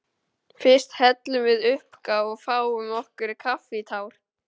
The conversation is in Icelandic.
Fyrst hellum við uppá og fáum okkur kaffitár.